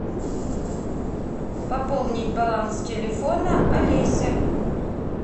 пополнить баланс телефона алеся